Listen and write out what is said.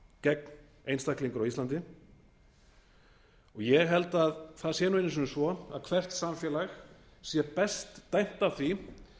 gegn einstaklingur á íslandi og ég held að það sé einu sinni svo að hvert samfélag sé best stætt á því